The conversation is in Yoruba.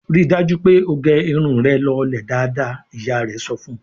"Rí dájú pé ó gẹ irun rẹ lọlẹ̀ dáadáa!" Ìyá rẹ̀ sọ fún un.